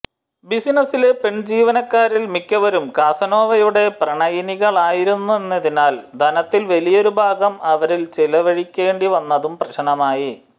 ബിസിനസിലെ പെൺജീവനക്കാരിൽ മിക്കവരും കാസനോവയുടെ പ്രണയിനികളായിരുന്നതിനാൽ ധനത്തിൽ വലിയൊരു ഭാഗം അവരിൽ ചിലവഴിക്കേണ്ടി വന്നതും പ്രശ്നമായി